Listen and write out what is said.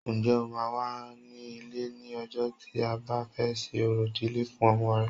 Ǹjẹ́ o máa wà ní ilé ní ọjọ́ tí a bá fẹ́ ṣe orò ìdílé fún ọmọ rẹ